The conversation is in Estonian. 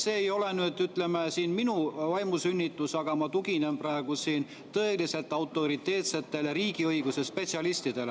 See ei ole nüüd, ütleme, minu vaimusünnitis, vaid ma tuginen praegu tõeliselt autoriteetsetele riigiõiguse spetsialistidele.